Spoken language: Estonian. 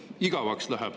Igavaks läheb!